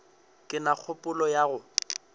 ke na kgopolo ya go